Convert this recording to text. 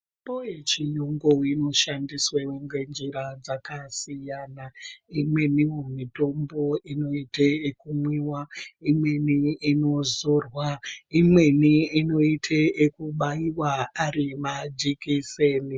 Mitombo yechiyungu inoshandiswa ngenjira dzakasiyana. Imweni mitombo inoite ekumwiwa. Imweni inoite kuzorwa, imweni inoite yekubaiwa arimajekiseni.